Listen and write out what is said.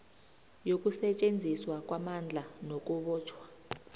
yokusetjenziswa kwamandla nakubotjhwa